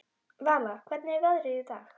Vala, hvernig er veðrið í dag?